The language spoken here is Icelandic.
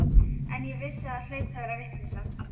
En ég vissi að það hlaut að vera vitleysa.